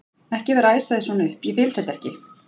ekki vera að æsa þig svona upp. ég vil þetta ekki!